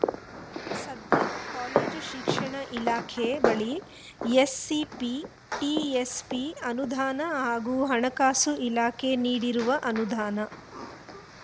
ಸದ್ಯ ಕಾಲೇಜು ಶಿಕ್ಷಣ ಇಲಾಖೆ ಬಳಿ ಎಸ್‌ಸಿಪಿ ಟಿಎಸ್‌ಪಿ ಅನುದಾನ ಹಾಗೂ ಹಣಕಾಸು ಇಲಾಖೆ ನೀಡಿರುವ ಅನುದಾನ